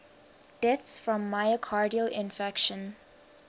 deaths from myocardial infarction